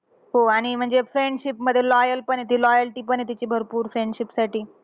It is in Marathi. हो आणि म्हणजे friendship मध्ये loyal पण आहे ती. loyalty पण आहे तिची भरपूर friendship साठी.